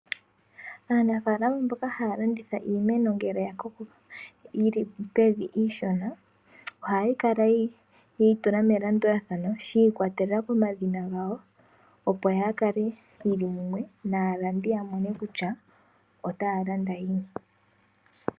Aanafaalama mboka haya landitha iimeno ngele ya koko yili pevi iishona, ohaya kala yeyi tula melandulathano shi ikwatelela komadhina gawo opo yaa kale yili mumwe naalandi ya mone kutya otaya landa yini.